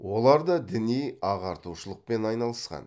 олар да діни ағартушылықпен айналысқан